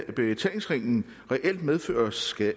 at betalingsringen reelt medfører skat